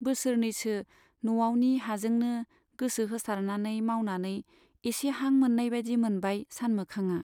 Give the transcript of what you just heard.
बोसोरनैसो न'आवनि हाजोंनो गोसो होसारनानै मावनानै एसे हां मोन्नायबादि मोनबाय सानमोखांआ।